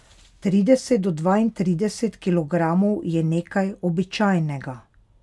Trideset do dvaintrideset kilogramov je nekaj običajnega.